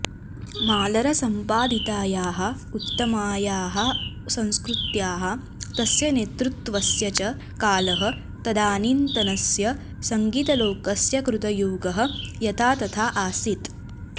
मालरसम्पादितायाः उत्तमायाः संस्कृत्याः तस्य नेतृत्वस्य च कालः तदानीन्तनस्य सङ्गीतलोकस्य कृतयुगः यथा तथा आसीत्